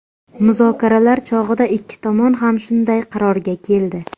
Muzokaralar chog‘ida ikki tomon ham shunday qarorga keldi.